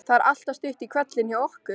Það er alltaf stutt í hvellinn hjá okkur.